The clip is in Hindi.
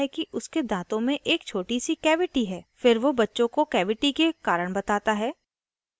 दन्त चिकित्सक रामू के दाँतों की जाँच करता है और उसे बताता है कि उसके दाँतों में एक छोटी the cavity है